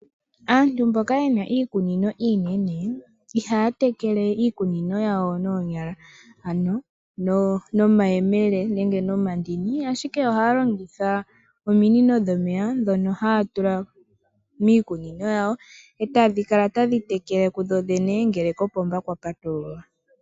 Aantu mboka yena iikunino iinene, ihaya tekele iikunino yawo noonyala, ano nomayemele nenge nomandini, ashike oha ya longitha ominino dhomeya dhono haya tula miikunino yawo, e tadhi kala tadhi tekele ku dho dhene ngele kopomba kwa patululwa.